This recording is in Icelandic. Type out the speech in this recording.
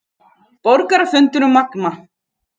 Borgarafundur um Magma